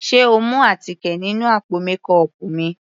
Sé o mú àtíkè nínú àpò mékọọpù mi.